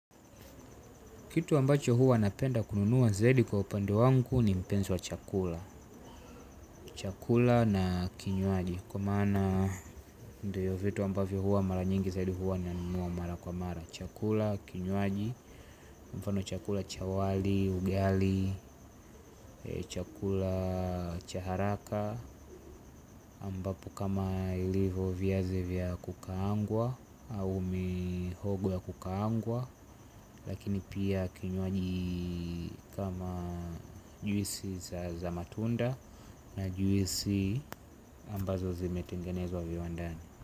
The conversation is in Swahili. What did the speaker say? Kitu ambacho hua napenda kununua zaidi kwa upande wangu ni mpenzi wa chakula. Chakula na kinywaji kwa maana ndio vitu ambavyo huwa mara nyingi zaidi hua nanunua mara kwa mara. Chakula, kinywaji, mfano chakula cha wali, ugali, chakula cha haraka ambapo kama ilivo viazi vya kukaangwa au mihogo ya kukaangwa. Lakini pia kinywaji kama juisi za matunda na juisi ambazo zimetengenezwa viwandani.